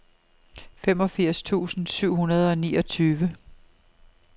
femogfirs tusind syv hundrede og niogtyve